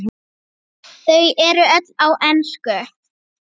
Sonur þeirra er Hallur.